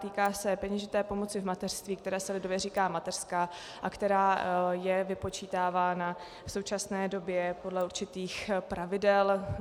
Týká se peněžité pomoci v mateřství, které se lidově říká mateřská a která je vypočítávána v současné době podle určitých pravidel.